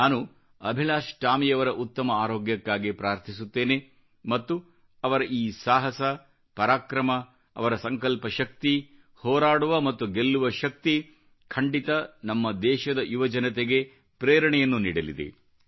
ನಾನು ಅಭಿಲಾಷ್ ಟಾಮಿಯವರ ಉತ್ತಮ ಆರೋಗ್ಯಕ್ಕಾಗಿ ಪ್ರಾರ್ಥಿಸುತ್ತೇನೆ ಮತ್ತು ಅವರ ಈ ಸಾಹಸ ಪರಾಕ್ರಮ ಅವರ ಸಂಕಲ್ಪ ಶಕ್ತಿ ಹೋರಾಡುವ ಮತ್ತು ಗೆಲ್ಲುವ ಶಕ್ತಿ ಖಂಡಿತ ನಮ್ಮ ದೇಶದ ಯುವಜನತೆಗೆ ಪ್ರೇರಣೆಯನ್ನು ನೀಡಲಿದೆ